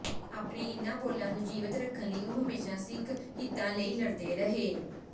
ਆਪਣੇ ਇਨ੍ਹਾਂ ਬੋਲਾਂ ਨੂੰ ਜੀਵਤ ਰੱਖਣ ਲਈ ਉਹ ਹਮੇਸ਼ਾ ਸਿੱਖ ਹਿੱਤਾਂ ਲਈ ਲੜਦੇ ਰਹੇ